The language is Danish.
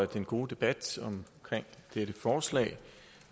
den gode debat om dette forslag